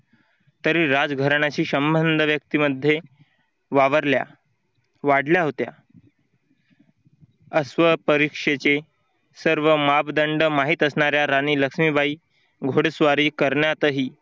तरी राजघराण्याशी संबंध व्यक्तीमध्ये वावरल्या वाढल्या होत्या. अश्व परीक्षेचे सर्व मापदंड माहीत असणाऱ्या राणी लक्ष्मीबाई घोडेस्वारी करण्यातही